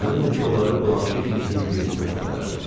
Əminəm ki, onları blanşi kimisinin birisinə səpələrdim.